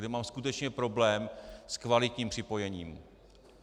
Kde mám skutečně problém s kvalitním připojením.